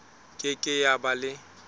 ke ke ya ba le